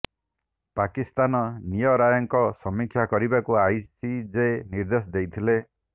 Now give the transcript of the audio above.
ପାକିସ୍ତାନ ନିୟ ରାୟର ସମୀକ୍ଷା କରିବାକୁ ଆଇସିଜେ ନିର୍ଦେଶ ଦେଇଥିଲେ